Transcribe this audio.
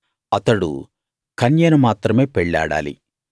అతడు కన్యను మాత్రమే పెళ్ళాడాలి